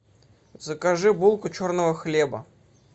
закажи булку черного хлеба